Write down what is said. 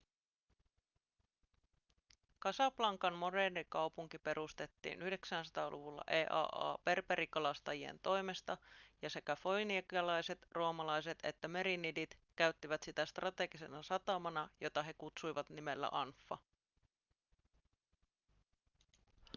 casablancan moderni kaupunki perustettiin 900-luvulla eaa berberikalastajien toimesta ja sekä foinikialaiset roomalaiset että merinidit käyttivät sitä strategisena satamana jota he kutsuivat nimellä anfa